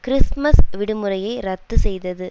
Christmas விடுமுறையை ரத்து செய்தது